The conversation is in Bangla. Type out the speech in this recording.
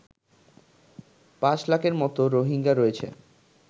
৫ লাখের মতো রোহিঙ্গা রয়েছে